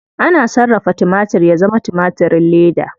Ana sarrafa timatir ya zama timatirin leda.